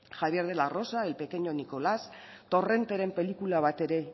javier de la rosa el pequeño nicolas torrenteren pelikula batere